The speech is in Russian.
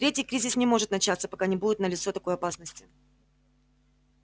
третий кризис не может начаться пока не будет налицо такой опасности